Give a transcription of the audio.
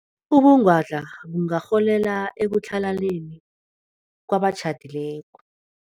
Ubungwadla bungarholela ekutlhalaneni kwabatjhadileko.